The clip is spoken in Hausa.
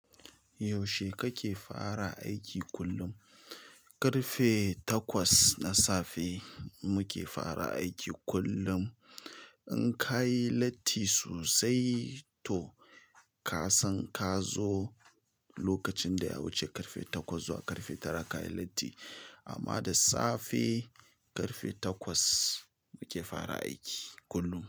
Yaushe kake fara aiki kullum? Karfe takwas na safe muke fara aiki kullum. In ka yi latti sosai to ka san ka zo lokacin da yawuce karfe takwas zuwa karfe tara ka yi latti. Amma da safe karfe takwas muke fara aiki kullum.